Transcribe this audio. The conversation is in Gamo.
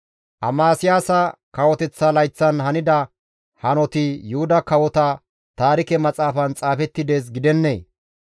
Amasiyaasa kawoteththa layththatan hanida hanoti Yuhuda Kawota Taarike Maxaafan xaafetti dees gidennee?